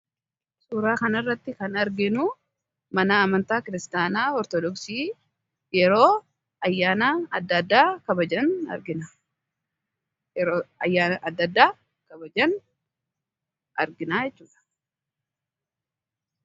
suuraa kan irratti kan arginu mana amantaa kiristaanaa ortodooksii yeroo ayyaana adda addaa kabajan argina jechuudha